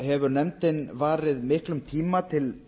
hefur nefndin varið miklum tíma til